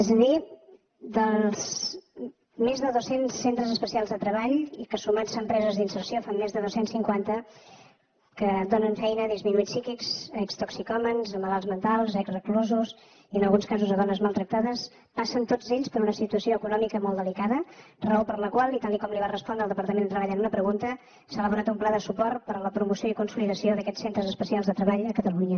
és a dir els més de dos cents centres especials de treball que sumats a empreses d’inserció en fan més de dos cents cinquanta que donen feina a disminuïts psíquics a extoxicòmans a malalts mentals a exreclusos i en alguns casos a dones maltractades passen tots ells per una situació econòmica molt delicada raó per la qual tal com li va respondre el departament de treball en una pregunta s’ha elaborat un pla de suport per a la promoció i consolidació d’aquests centres especials de treball a catalunya